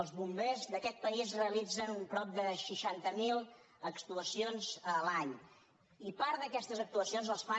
els bombers d’aquest país realitzen prop de seixanta mil actuacions l’any i part d’aquestes actuacions les fan